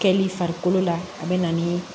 Kɛli farikolo la a bɛ na ni